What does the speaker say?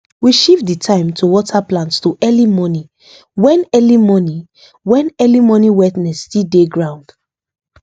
we shift the time to water plant to early morning when early morning when early morning wetness still dey ground